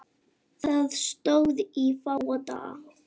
Það stóð í fáa daga.